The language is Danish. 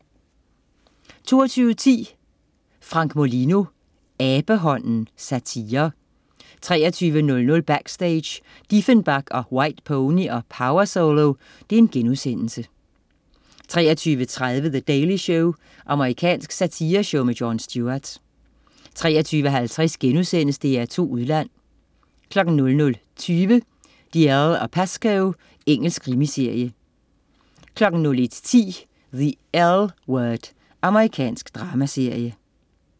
22.10 Frank Molino. Abehånden. Satire 23.00 Backstage: Diefenbach & White Pony & Powersolo* 23.30 The Daily Show. Amerikansk satireshow med Jon Stewart 23.50 DR2 Udland* 00.20 Dalziel & Pascoe. Engelsk krimiserie 01.10 The L Word. Amerikansk dramaserie